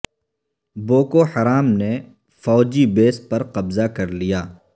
Boko Haram نے فوجی base پر قبضہ کر لیا